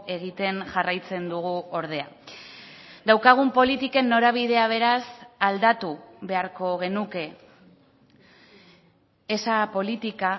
egiten jarraitzen dugu ordea daukagun politiken norabidea beraz aldatu beharko genuke esa política